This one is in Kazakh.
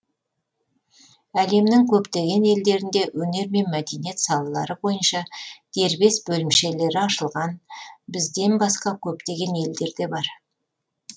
әлемнің көптеген елдерінде өнер мен мәдениет салалары бойынша дербес бөлімшелері ашылған бізден басқа көптеген елдерде бар